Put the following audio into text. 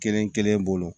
Kelen kelen bolo